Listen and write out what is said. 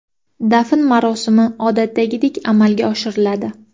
Dafn marosimi odatdagidek amalga oshiriladi.